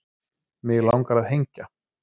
Mig langar að hengja